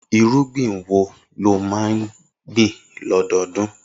Irúgbìn wo ni ó máa ń gbìn lọ́dọọdún?